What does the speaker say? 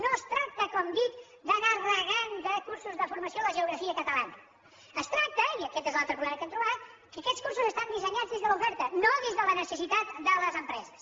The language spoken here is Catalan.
no es tracta com dic d’anar regant de cursos de formació la geografia catalana es tracta i aquest és l’altre problema que hem trobat que aquests cursos estan dissenyats des de l’oferta no des de la necessitat de les empreses